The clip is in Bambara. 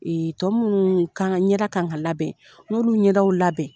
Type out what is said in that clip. tɔ minnu kan ɲɛda ka kan ka labɛn n ye olu ɲɛdaw labɛn.